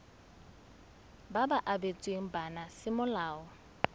ba ba abetsweng bana semolao